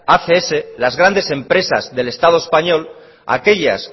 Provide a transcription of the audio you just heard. acs las grandes empresas del estado español aquellas